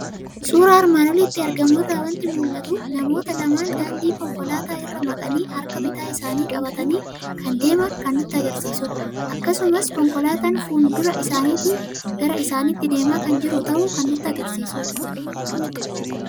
Suuraa armaan olitti argamu irraa waanti mul'atu; namoota lama daandii konkolaataa irraa maqanii harka bitaa isaanii qabatani kan deeman kan nutti agarsiisudha. Akkasumas konkolaataan fuuldura isaanitii gara isaanitti deema kan jiru ta'uu kan nutti agarsiisudha.